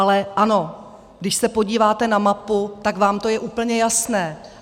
Ale ano, když se podíváte na mapu, tak je vám to úplně jasné.